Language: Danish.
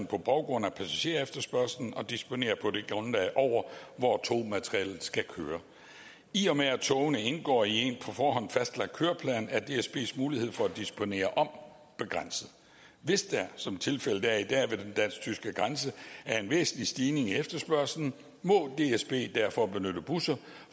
på baggrund af passagerefterspørgsel og disponerer på det grundlag over hvor togmaterialet skal køre i og med togene indgår i en forhånd fastlagt køreplan er dsbs mulighed for at disponere om begrænset hvis der som tilfældet er i dag ved den dansk tyske grænse er en væsentlig stigning i efterspørgslen må dsb derfor benytte busser